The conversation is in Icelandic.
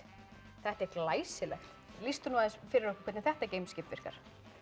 þetta er glæsilegt lýstu aðeins fyrir okkur hvernig þetta geimskip virkar